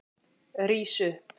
Rís upp!